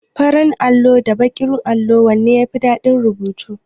Farin allo da baƙin allo wanne ne yafi dadin rubutu?